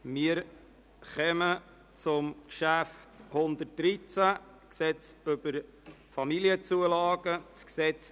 Wir kommen nun zum Traktandum 113, dem Gesetz über die Familienzulagen (KFamZG).